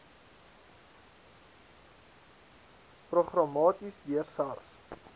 programmaties deur sars